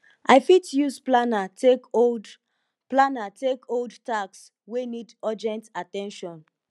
i fit use planner take hold planner take hold task wey need urgent at ten tion